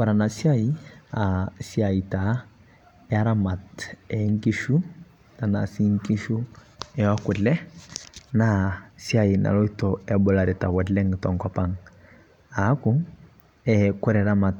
Ore ena siai naa esiai taa eramat ee nkishu, tenaa sii nkishu ee kule naa siai naloito ebularita oleng' te nkop ang'. Aaku kore eramat